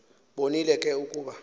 bonile ke ukuba